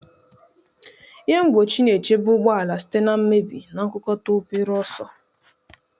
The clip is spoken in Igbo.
Ihe mgbochi na-echebe ụgbọ ala site na mmebi na nkukota obere ọsọ.